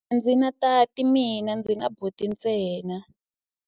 A ndzi na tati mina, ndzi na buti ntsena.